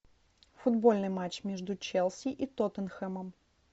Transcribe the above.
футбольный матч между челси и тоттенхэмом